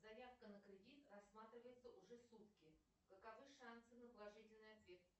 заявка на кредит рассматривается уже сутки каковы шансы на положительный ответ